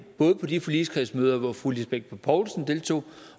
både på de forligskredsmøder hvor fru lisbeth bech poulsen deltog